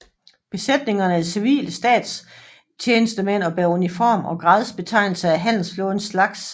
Besætningerne er civile statstjenestemænd og bærer uniform og gradsbetegnelser af handelsflådens slags